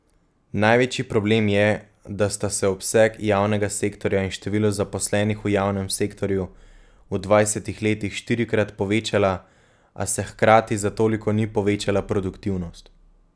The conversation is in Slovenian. Največji problem je, da sta se obseg javnega sektorja in število zaposlenih v javnem sektorju v dvajsetih letih štirikrat povečala, a se hkrati za toliko ni povečala produktivnost.